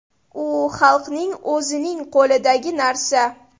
U xalqning o‘zining qo‘lidagi narsa.